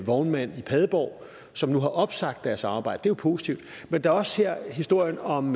vognmand i padborg som nu har opsagt deres arbejde jo positivt men der er også historien om